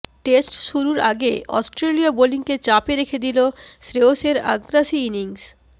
test শুরুর আগে অস্ট্রেলীয় বোলিংকে চাপে রেখে দিল শ্রেয়সের আগ্রাসী ইনিংস